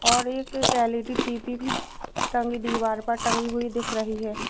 और एक L E D TV भी टंगी दीवार पर टंगी हुई दिख रही है।